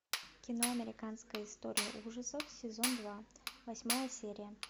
кино американская история ужасов сезон два восьмая серия